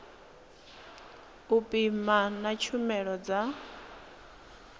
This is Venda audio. u pima na tshumelo dza